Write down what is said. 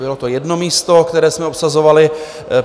Bylo to jedno místo, které jsme obsazovali.